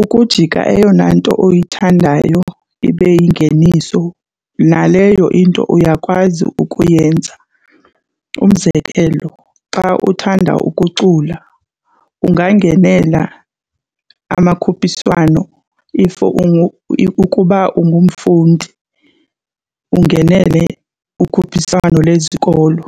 Ukujika eyona nto oyithandayo ibe yingeniso naleyo into uyakwazi ukuyenza. Umzekelo xa uthanda ukucula ungangenela amakhuphiswano, if ?] ukuba ungumfundi ungenele ukhuphiswano lesikolo.